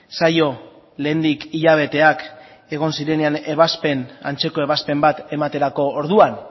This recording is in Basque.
zaio lehendik hilabeteak egon zirenean ebazpen antzeko ebazpen bat ematerako orduan